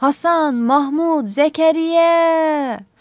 Hasan, Mahmud, Zəkəriyya!